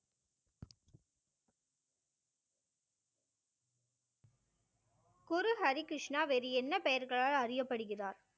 குரு ஹரிகிருஷ்ணா வேறு என்ன பெயர்களால் அறியப்படுகிறார்?